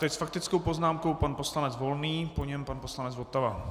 Teď s faktickou poznámkou pan poslanec Volný, po něm pan poslanec Votava.